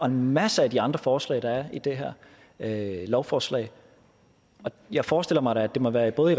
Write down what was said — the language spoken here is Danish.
en masse af de andre forslag der er i det her lovforslag og jeg forestiller mig da at det må være i både